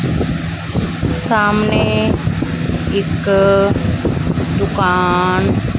ਸਾਹਮਣੇ ਇੱਕ ਦੁਕਾਨ --